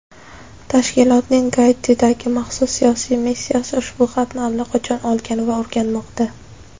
tashkilotning Gaitidagi maxsus siyosiy missiyasi ushbu xatni allaqachon olgan va o‘rganmoqda.